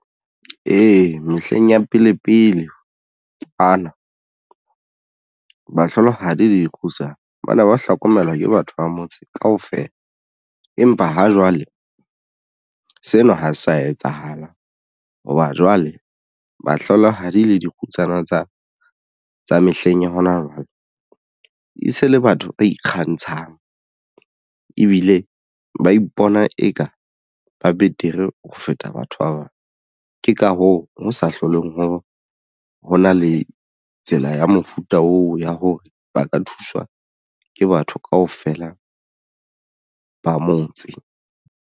Ee, mehleng ya pele pele ana bahlolohadi le dikgutsana ba ne ba hlokomelwa ke batho ba motse kaofela. Empa ha jwale sena ha sa etsahalang hoba jwale bahlolohadi le dikgutsana tsa mehleng ya hona jwale e se le batho ba ikgantshang ebile ba ipona eka ba betere ho feta batho ba bang. Ke ka hoo ho sa hlolweng ho hona le tsela ya mofuta oo ya hore ba ka thuswa ke batho kaofela ba motse.